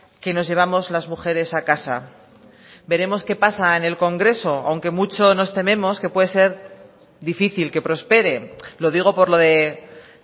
que nos llevamos las mujeres a casa veremos qué pasa en el congreso aunque mucho nos tememos que puede ser difícil que prospere lo digo por lo de